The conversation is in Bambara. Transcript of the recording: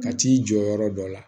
Ka t'i jɔ yɔrɔ dɔ la